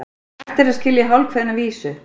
Hægt er að skilja hálfkveðna vísu.